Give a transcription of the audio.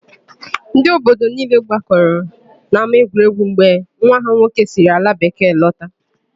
Ndị obodo niile gbakọrọ n'ámáegwuregwu mgbe nwa ha nwoke siri alabekee lọta.